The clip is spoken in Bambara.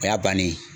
O y'a bannen ye